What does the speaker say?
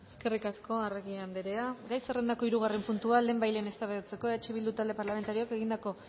eskerrik asko arregi anderea gai zerrendako hirugarren puntua lehenbailehen eztabaidatzeko eh bildu talde parlamentarioak egindako